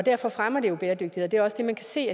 derfor fremmer det jo bæredygtighed det er også det man kan se